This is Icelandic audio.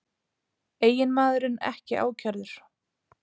Eiginmaðurinn ekki ákærður